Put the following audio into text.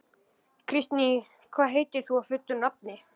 Kristný, hvað heitir þú fullu nafni?